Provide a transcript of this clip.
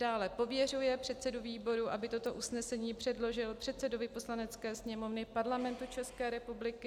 II. pověřuje předsedu výboru, aby toto usnesení předložil předsedovi Poslanecké sněmovny Parlamentu České republiky;